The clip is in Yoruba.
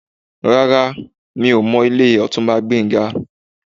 Rárá, mi ò mọ ilé Ọ̀túnba Gbénga.